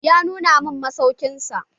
Ya nuna mun masaukin sa.